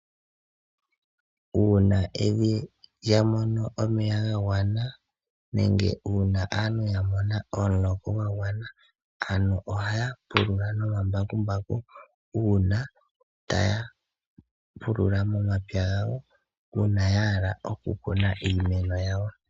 Uuna evi lyamono omeya ga gwana, nenge uuna aantu yamona omuloka gwa gwana, ohaya pulula nomambakumbaku, taya pulula momapya gawo, uuna yahala okukuna iimeno yawo.